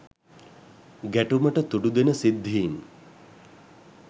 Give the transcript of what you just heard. ගැටුමට තුඩු දෙන සිද්ධීන්